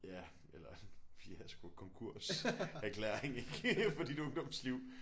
Ja eller fiasko konkurserklæring ik for dit ungdomsliv